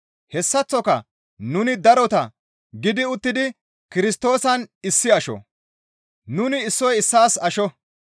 hessaththoka nuni darota gidi uttidi Kirstoosan issi asho; nuni issoy issaas asho.